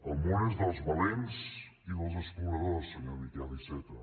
el món és dels valents i dels exploradors senyor miquel iceta